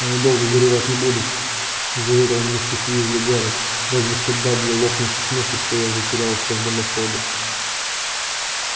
они долго горевать не будут заверил миссис уизли гарри разве что дадли лопнет со смеху что я затерялся в дымоходе